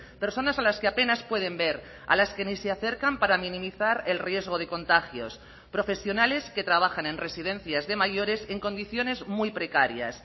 personas a las que apenas pueden ver a las que ni se acercan para minimizar el riesgo de contagios profesionales que trabajan en residencias de mayores en condiciones muy precarias